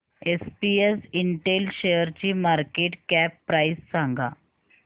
SPS Intel शेअरची market cap price सांगा